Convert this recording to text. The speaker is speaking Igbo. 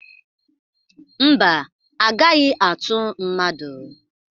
Mba, agaghi atu mmadụ?